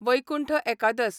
वैकुंठ एकादस